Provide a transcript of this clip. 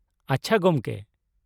ᱟᱪᱪᱷᱟ, ᱜᱚᱢᱠᱮ ᱾